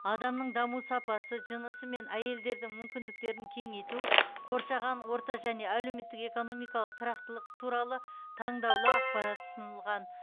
адамның даму сапасы жынысы мен әйелдердің мүмкіндіктерін кеңейту қоршаған орта және әлеуметтік экономикалық тұрақтылық туралы таңдаулы ақпарат ұсынылған